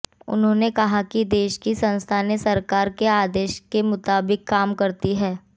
उन्होंने कहा कि देश की संस्थानें सरकार के आदेश के मुताबिक काम करती हैं